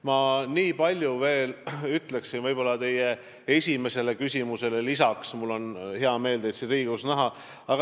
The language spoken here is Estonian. Ma nii palju veel ütleksin teie esimese küsimuse peale lisaks, mul on hea meel teid siin Riigikogus näha.